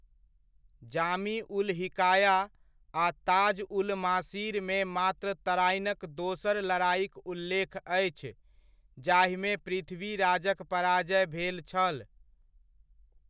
जामी उल हिकाया आ ताज उल मासीरमे मात्र तराइनक दोसर लड़ाइक उल्लेख अछि जाहिमे पृथ्वीराजक पराजय भेल छल।